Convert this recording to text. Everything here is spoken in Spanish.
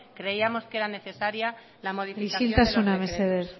creíamos que era necesaria la modificación de los decretos isiltasuna mesedez